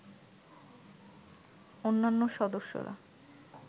অন্যান্য সদস্যরা